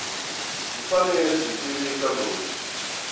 byi fanele byi tivisa loyi